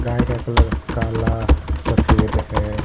गाय का कलर काला सफेद है।